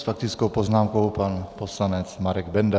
S faktickou poznámkou pan poslanec Marek Benda.